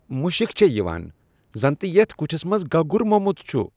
مُشك چُھ یوان زن تہِ یتھ كُٹھِس منز گگُر موٚمُت چُھ ۔